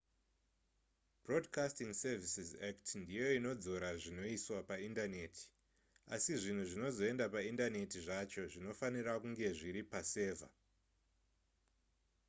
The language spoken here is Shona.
broadcasting services act ndiyo inodzora zvinoiswa paindaneti asi zvinhu zvinozoenda paindaneti zvacho zvinofanira kunge zviri pasevha